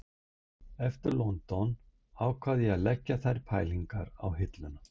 Eftir London ákvað ég að leggja þær pælingar á hilluna